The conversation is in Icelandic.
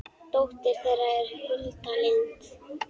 dóttir þeirra er Hulda Lind.